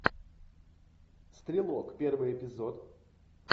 стрелок первый эпизод